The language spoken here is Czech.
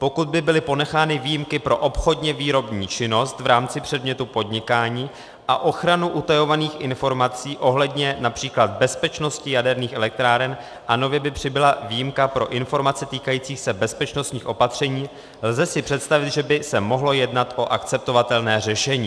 Pokud by byly ponechány výjimky pro obchodně výrobní činnost v rámci předmětu podnikání a ochranu utajovaných informací ohledně například bezpečnosti jaderných elektráren a nově by přibyla výjimka pro informace týkající se bezpečnostních opatření, lze si představit, že by se mohlo jednat o akceptovatelné řešení."